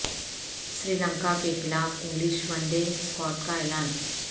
سری لنکا کیخلاف English one day squad کا اعلان